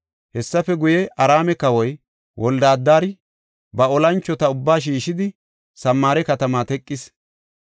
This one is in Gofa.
Hessafe guye, Araame kawoy Wolde-Adari ba olanchota ubbaa shiishidi, Samaare katama teqis.